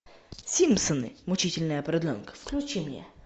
симпсоны мучительная продленка включи мне